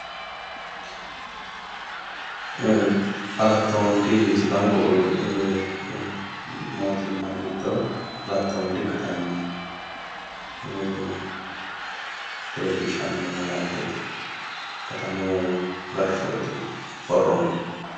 Alatta wondi sidaamu qoqqowi mootimma giddo alatta wondi katami leellishshanno malaateeti. Katamu gashshooti borro mine.